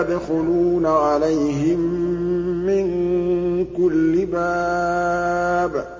يَدْخُلُونَ عَلَيْهِم مِّن كُلِّ بَابٍ